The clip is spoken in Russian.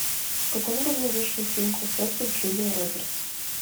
в каком году вышел фильм красотка с джулией робертс